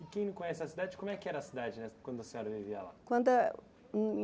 E quem não conhece a cidade, como é que era a cidade nessa quando a senhora vivia lá? Quando